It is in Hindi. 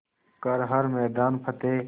कर हर मैदान फ़तेह